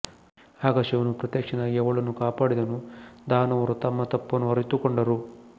ಆಗ ಶಿವನು ಪ್ರತ್ಯಕ್ಷನಾಗಿ ಅವಳನ್ನು ಕಾಪಾಡಿದನು ದಾನವರು ತಮ್ಮ ತಪ್ಪನ್ನು ಅರಿತುಕೊಂಡರು